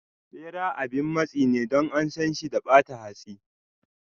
Bera abin matsi ne Don ansan shi da bata hatsi.